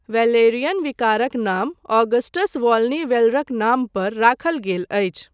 Valerian विकारक नाम Augustus Volney वैलरक नाम पर राखल गेल अछि।